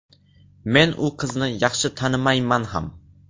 Men u qizni yaxshi tanimayman ham.